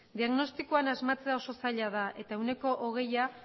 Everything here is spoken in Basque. diagnostikoan asmatzea oso zaila da eta ehuneko hogeia